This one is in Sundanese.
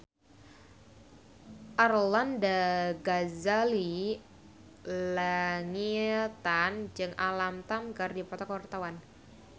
Arlanda Ghazali Langitan jeung Alam Tam keur dipoto ku wartawan